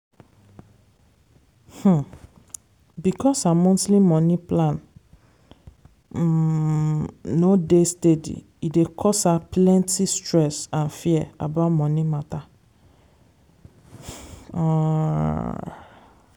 um because her monthly money plan um no dey steady e dey cause her plenty stress and fear about money matter. um